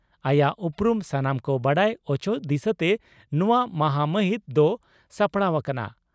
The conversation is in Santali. ᱟᱭᱟᱜ ᱩᱯᱨᱩᱢ ᱥᱟᱱᱟᱢ ᱠᱚ ᱵᱟᱰᱟᱭ ᱚᱪᱚ ᱫᱤᱥᱟᱹᱛᱮ ᱱᱚᱣᱟ ᱢᱟᱦᱟᱢᱟᱦᱤᱛ ᱫᱚ ᱥᱟᱯᱲᱟᱣ ᱟᱠᱟᱱᱟ ᱾